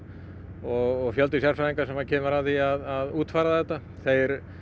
og fjöldi sérfræðinga sem kemur að því að útfæra þetta þeir